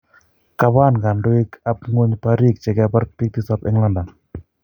kapaan kandoig ap Ngweny pariig chekapar piik tisap en London